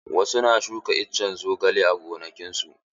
Wasu na shuka iccen zogale a gonakin su.